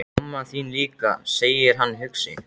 Mamma þín líka, segir hann hugsi.